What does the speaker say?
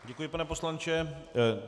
Děkuji, pane poslanče.